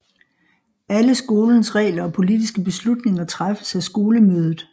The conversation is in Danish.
Alle skolens regler og politiske beslutninger træffes af skolemødet